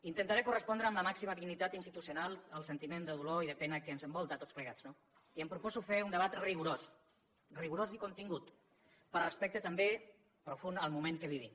intentaré correspondre amb la màxima dignitat institucional al sentiment de dolor i de pena que ens envolta a tots plegats no i em proposo fer un debat rigorós rigorós i contingut per respecte també profund al moment que vivim